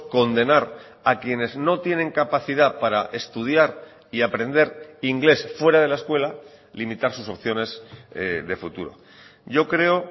condenar a quienes no tienen capacidad para estudiar y aprender inglés fuera de la escuela limitar sus opciones de futuro yo creo